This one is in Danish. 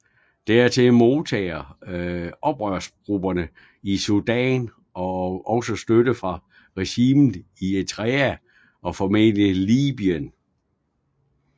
Dertil modtager oprørsgrupperne i Sudan også støtte fra regimet i Eritrea og formentlig Libyen